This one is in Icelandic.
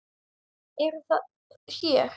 Eruð það þér?